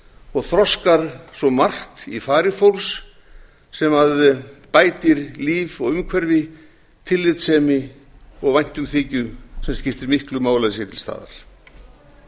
og þroskar svo margt í fari fólks sem bætir líf og umhverfi tillitssemi og væntumþykju sem skiptir miklu máli að sé til staðar